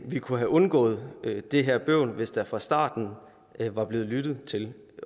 vi kunne have undgået det her bøvl hvis der fra starten var blevet lyttet til